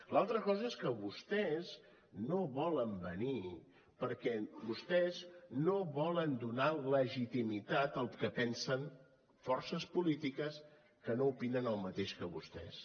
l’altra cosa és que vostès no volen venir perquè vostès no volen donar legitimitat al que pensen forces polítiques que no opinen el mateix que vostès